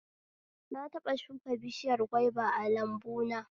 Na taɓa shuka bishiyar gwaiba a lambuna